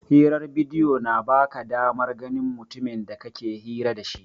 Hirar bidiyo na ba ka damar ganin mutumin da kake hira da shi.